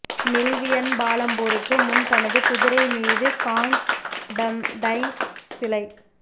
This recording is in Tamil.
மில்வியன் பாலம் போருக்கு முன் தனது குதிரை மீது கான்ஸ்டன்டைன் சிலை